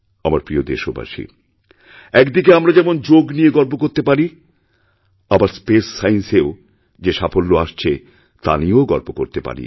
আমার প্রিয়দেশবাসী একদিকে আমরা যেমন যোগ নিয়ে গর্ব করতে পারি আবার স্পেস সায়েন্স এও যে সাফল্য আসছেতা নিয়েও গর্ব করতে পারি